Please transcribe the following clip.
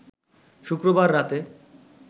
শুক্রবার রাতে